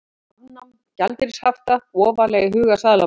Afnám gjaldeyrishafta ofarlega í huga seðlabanka